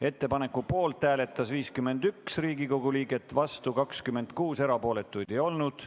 Ettepaneku poolt hääletas 51 Riigikogu liiget, vastu 26, erapooletuid ei olnud.